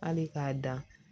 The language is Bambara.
Hali k'a dan